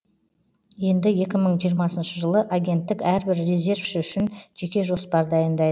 енді екі мың жиырмасыншы жылы агенттік әрбір резервші үшін жеке жоспар дайындай